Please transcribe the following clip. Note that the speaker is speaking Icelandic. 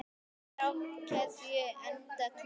Er á keðju enda kló.